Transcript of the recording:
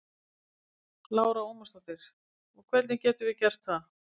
Lára Ómarsdóttir: Og hvernig getum við gert það?